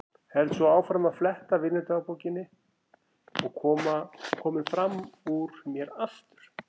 Held svo áfram að fletta vinnudagbókinni og kominn fram úr mér aftur.